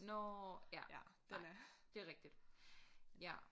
Nåh ja nej det rigtig ja